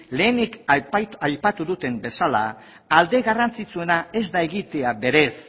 lehenik aipatu duten bezala alde garrantzitsuena ez da egitea berez